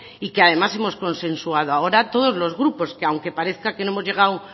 y que además hemos consensuado ahora todos los grupos que aunque parezca que no hemos llegado